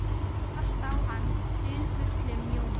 Bara til að kasta á hann dularfullum ljóma.